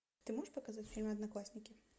ты можешь показать фильм одноклассники